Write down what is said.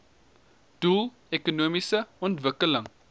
doel ekonomiese ontwikkeling